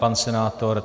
Pan senátor?